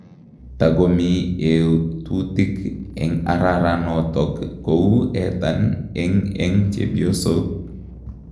Tagomii etutiik eng araranotok kou etan eng'eng chepyosook.